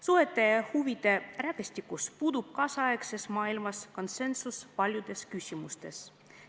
Suhete, huvide rägastikus puudub tänapäeva maailmas paljudes küsimustes konsensus.